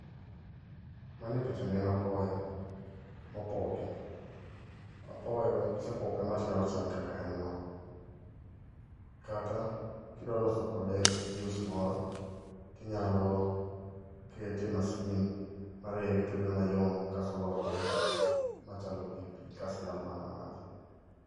Man e picha ni en apoyo, mopoki. Apoyo kisepoke kama tinyalo chame kaka en no. Kata kidwa loso kode juice moro, tinyalo kete e masin marege to bedo mayom, kaeto olokre machalo pi pi kas inyalo mana madhe.